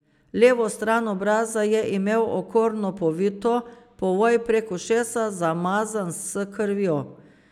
Levo stran obraza je imel okorno povito, povoj prek ušesa zamazan s krvjo.